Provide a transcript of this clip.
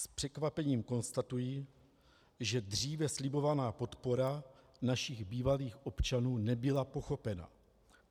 S překvapením konstatuji, že dříve slibovaná podpora našich bývalých občanů nebyla pochopena.